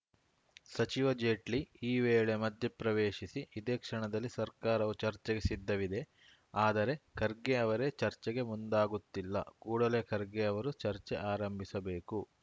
ಸಚಿವ ಜೇಟ್ಲಿ ಈ ವೇಳೆ ಮಧ್ಯಪ್ರವೇಶಿಸಿ ಇದೇ ಕ್ಷಣದಲ್ಲಿ ಸರ್ಕಾರವು ಚರ್ಚೆಗೆ ಸಿದ್ಧವಿದೆ ಆದರೆ ಖರ್ಗೆ ಅವರೇ ಚರ್ಚೆಗೆ ಮುಂದಾಗುತ್ತಿಲ್ಲ ಕೂಡಲೇ ಖರ್ಗೆ ಅವರು ಚರ್ಚೆ ಆರಂಭಿಸಬೇಕು